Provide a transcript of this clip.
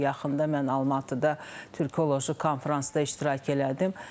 Yaxında mən Almatıda türkologiya konfransda iştirak elədim.